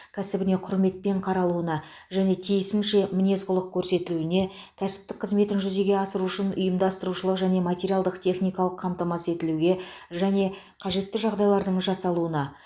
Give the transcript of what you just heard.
кәсібіне құрметпен қаралуына және тиісінше мінез құлық көрсетілуіне кәсіптік қызметін жүзеге асыру үшін ұйымдастырушылық және материалдық техникалық қамтамасыз етілуге және қажетті жағдайлардың жасалуына